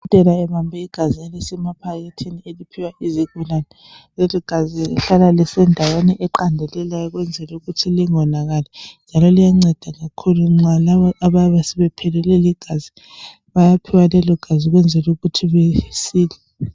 Udokotela ubambe igazi elisemaphakethini eliphiwa izigulane leligazi lihlala lisendaweni eqandelelayo ukwenzela ukuthi lingonakali njalo liyanceda kakhulu labo abayabe sebephelelwe ligazi bayaphiwa lelo gazi ukwenzela ukuthi besile.